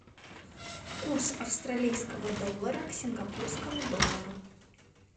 курс австралийского доллара к сингапурскому доллару